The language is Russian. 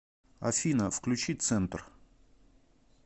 афина включи центр